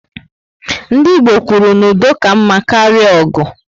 Ndị Igbo kwuru na "udo ka mma karịa ọgụ"